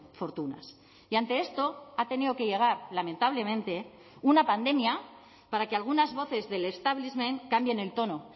fortunas y ante esto ha tenido que llegar lamentablemente una pandemia para que algunas voces del establishment cambien el tono